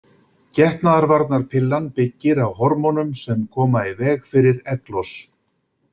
Getnaðarvarnarpillan byggir á hormónum sem koma í veg fyrir egglos.